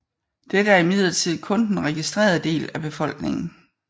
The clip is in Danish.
Dette er imidlertid kun den registrerede del af befolkningen